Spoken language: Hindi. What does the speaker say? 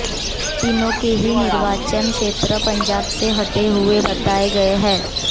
तीनों के ही निर्वाचन क्षेत्र पंजाब से सटे हुए बताए गए हैं